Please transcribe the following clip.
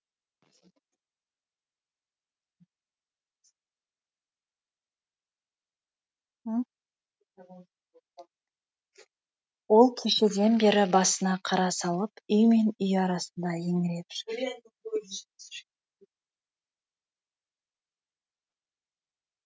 ол кешеден бері басына қара салып үй мен үй арасында еңіреп жүр